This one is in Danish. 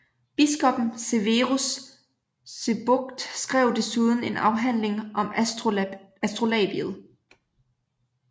Biskoppen Severus Sebokht skrev desuden en afhandling om astrolabiet